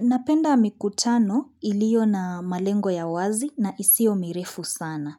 Napenda mikutano ilio na malengo ya wazi na isio mirefu sana.